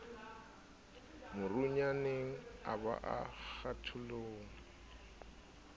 morunyaneng a ba a kgatholoha